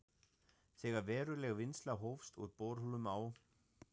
Þegar veruleg vinnsla hófst úr borholum á